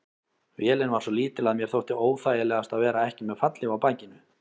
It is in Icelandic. Vélin var svo lítil að mér þótti óþægilegast að vera ekki með fallhlíf á bakinu.